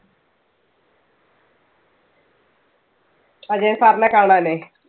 Ajayan sir നെ കാണാനേ.